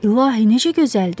İlahi, necə gözəldir!